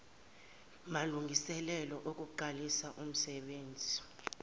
malungiselelo okuqalisa umsenbenzi